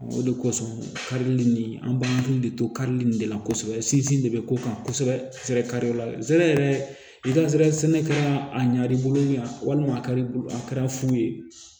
O de kosɔn karili nin an b'an hakili de to karili in de la kosɛbɛ sinzin de bɛ ko kan kosɛbɛ ka se yɛrɛ a ɲina bolo yan walima a kari a kɛra fu ye